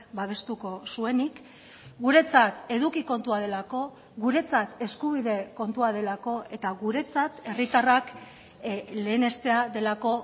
babestuko zuenik guretzat eduki kontua delako guretzat eskubide kontua delako eta guretzat herritarrak lehenestea delako